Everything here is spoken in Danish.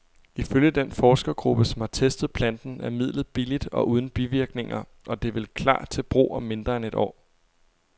Ifølge den forskergruppe, som har testet planten, er midlet billigt og uden bivirkninger, og det vil klar til brug om mindre end et år.